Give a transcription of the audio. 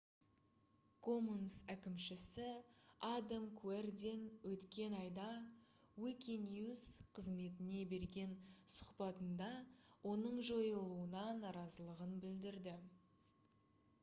commons әкімшісі адам куэрден өткен айда wikinews қызметіне берген сұхбатында оның жойылуына наразылығын білдірді